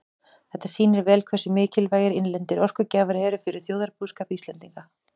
Þetta sýnir vel hversu mikilvægir innlendir orkugjafar eru fyrir þjóðarbúskap Íslendinga.